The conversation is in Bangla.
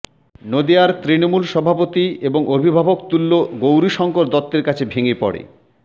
নদিয়ার তৃণমূল সভাপতি এবং অভিভাবকতুল্য গৌরীশঙ্কর দত্তের কাছে ভেঙে পড়ে